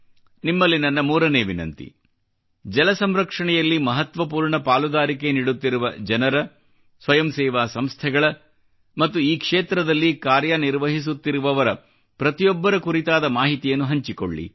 ನಿಮ್ಮಲ್ಲಿ ನನ್ನ 3 ನೇ ವಿನಂತಿ ಜಲ ಸಂರಕ್ಷಣೆಯಲ್ಲಿ ಮಹತ್ವಪೂರ್ಣ ಪಾಲುದಾರಿಕೆ ನೀಡುತ್ತಿರುವ ಜನರ ಸ್ವಯಂ ಸೇವಾ ಸಂಸ್ಥೆಗಳ ಮತ್ತು ಈ ಕ್ಷೇತ್ರದಲ್ಲಿ ಕಾರ್ಯನಿರ್ವಹಿಸುತ್ತಿರುವ ಪ್ರತಿಯೊಬ್ಬರ ಕುರಿತಾದ ಮಾಹಿತಿಯನ್ನು ಹಂಚಿಕೊಳ್ಳಿ